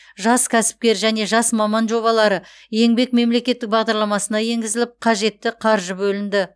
жас кәсіпкер және жас маман жобалары еңбек мемлекеттік бағдарламасына енгізіліп қажетті қаржы бөлінді